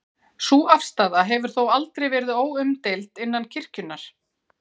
Sú afstaða hefur þó aldrei verið óumdeild innan kirkjunnar.